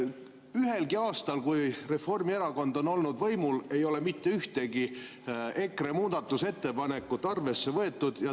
Ühelgi aastal, kui Reformierakond on olnud võimul, ei ole mitte ühtegi EKRE muudatusettepanekut arvesse võetud.